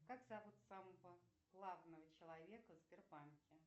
как зовут самого главного человека в сбербанке